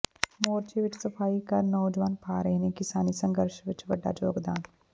ਮੋਰਚੇ ਵਿਚ ਸਫ਼ਾਈ ਕਰ ਨੌਜਵਾਨ ਪਾ ਰਹੇ ਨੇ ਕਿਸਾਨੀ ਸੰਘਰਸ਼ ਵਿਚ ਵੱਡਾ ਯੋਗਦਾਨ